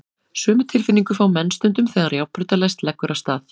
Sömu tilfinningu fá menn stundum þegar járnbrautarlest leggur af stað.